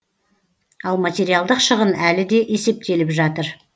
ал материалдық шығын әлі де есептеліп жатыр